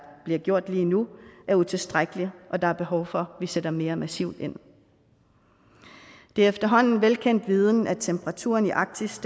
bliver gjort lige nu er utilstrækkelig og der er behov for vi sætter mere massivt ind det er efterhånden velkendt viden at temperaturen i arktis